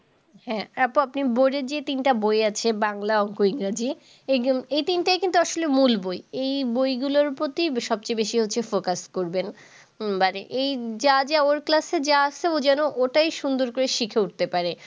হ্যাঁ আপু আপনার board এর যে তিনটে বই আছে, বাংলা, অঙ্ক, ইংরাজি - এই গিন এই তিনটেই কিন্তু আসলে মূল বই। এই বইগুলোর প্রতি সবচেয়ে বেশি focus করবেন। একেবারে এই যা যা ওর class যা আসছে ও যেন ওটাই সুন্দর করে শিখে উঠতে পারে।